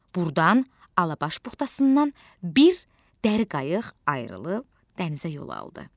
burdan Alabaş buxtasından bir dəri qayıq ayrılıb dənizə yol aldı.